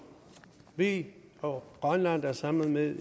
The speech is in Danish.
vi og grønland er sammen med